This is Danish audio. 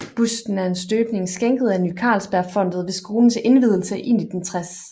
Busten er en afstøbning skænket af Ny Carlsbergfondet ved skolens indvielse i 1960